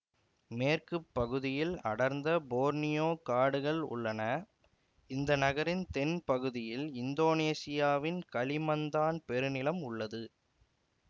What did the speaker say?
மேற்கு பகுதியில் அடர்ந்த போர்னியோ காடுகள் உள்ளன இந்த நகரின் தென் பகுதியில் இந்தோனேசியாவின் களிமந்தான் பெருநிலம் உள்ளது